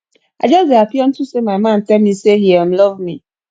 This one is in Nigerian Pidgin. i just dey happy unto say my man tell me say he um love me